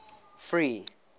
free